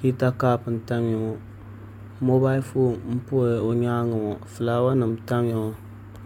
hita kaap n tamya ŋo moobal foon n pa o nyaangi ŋo fulaawa nim n tamya ŋo